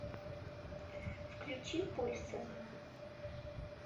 включи пульсы